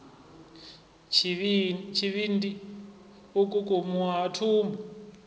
tshivhindi u kukumuwa ha thumbu